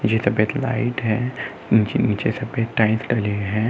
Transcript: ये सब एक लाइट हैं। नीचे-नीचे सफेद टाइल्स डले हैं।